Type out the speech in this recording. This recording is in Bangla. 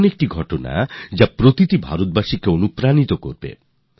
এমন একটি কাহিনী যা ভারতবাসীদের প্রেরণা দিতে পারে